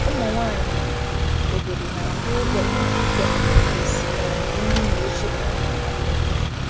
Ụmụ nwanyị obodo na-akwụ ụgwọ iji ite um esi um nri na oche um maka mmemme.